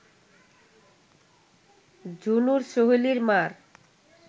ঝুনুর, সোহেলির মা’র